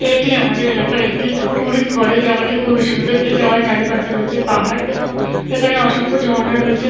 এইটি আমাদের এলাকার একটি টুরিস্ট স্পট । এই জায়গাটি খুবই সুন্দর। এই জায়গার চারিপাশে রয়েছে পাহাড় এবং এইখানে অসংখ্য ঝর্ণা রয়েছে।